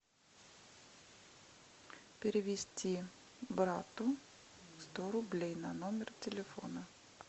перевести брату сто рублей на номер телефона